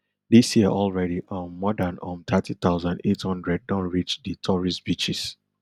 dis year already um more dan um thirty thousand, eight hundred don reach di tourist beaches